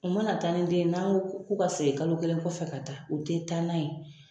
U mana ta ni den ye n'an ko k'u ka segin kalo kelen kɔfɛ ka taa o tɛ taa n'a ye.